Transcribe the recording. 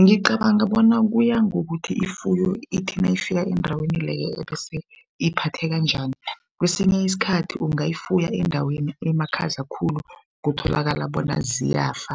Ngicabanga bona kuyangokuthi ifuyo ithi nayifika eendaweni leyo ebese iphatheka njani? Kwesinye isikhathi ungayifuyo endaweni emakhaza khulu kutholakala bona ziyafa,